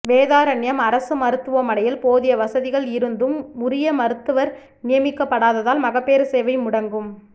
வேதாரண்யம் அரசு மருத்துவமனையில் போதிய வசதிகள் இருந்தும் உரிய மருத்துவா் நியமிக்கப்படாததால் மகப்பேறு சேவை முடங்கும்